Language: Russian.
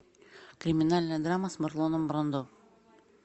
криминальная драма с марлоном брандо